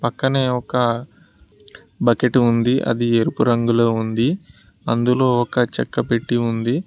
పక్కనే ఒక బకెట్ ఉంది అది ఎరుపు రంగులో ఉంది అందులో ఒక చెక్క పెట్టి ఉంది.